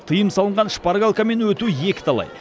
тыйым салынған шпаргалкамен өту екі талай